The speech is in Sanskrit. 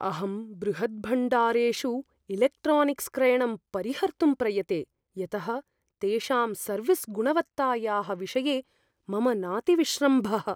अहं बृहद्भण्डारेषु इलेक्ट्रानिक्स्क्रयणं परिहर्तुं प्रयते, यतः तेषां सर्विस्गुणवत्तायाः विषये मम नाति विश्रम्भः।